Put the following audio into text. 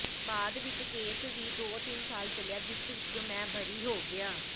ਬਾਅਦ ਵਿੱਚ ਕੇਸ ਵੀ ਦੋ ਤਿੰਨ ਸਾਲ ਚੱਲਿਆ ਜਿਸ ਵਿੱਚੋਂ ਮੈਂ ਬਰੀ ਹੋ ਗਿਆ